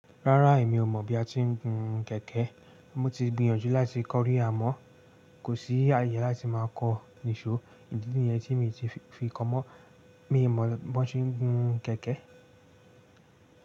Rárá èmi ò mọ̀ bí a ti ń gun kẹ̀kẹ́. Mo ti gbìyànjú láti kọ́ rí amọ́ kò sí àyè láti máa kọ́ nìṣó. Ìdí nìyẹn tí mi ti fi kọ mọ́. Mii mọ̀ bí wón ti ń gun kẹ̀kẹ́